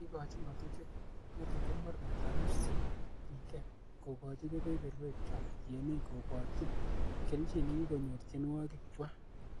Kikochi ng'otutiet mornetab MCPK, ko kochi kebeberwekchwak tienik, koborchin kelchin nekikonyor tiewogikchwak.